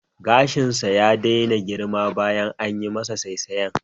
Gashinsa ya daina girma bayan anyi masa saisayen